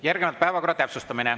Järgnevalt päevakorra täpsustamine.